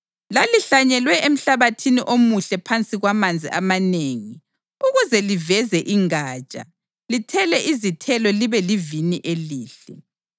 Lalihlanyelwe emhlabathini omuhle phansi kwamanzi amanengi ukuze liveze ingatsha, lithele izithelo libe livini elihle.’